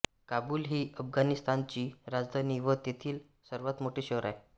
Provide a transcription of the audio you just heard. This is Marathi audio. काबूल ही अफगाणिस्तानाची राजधानी व तेथील सर्वात मोठे शहर आहे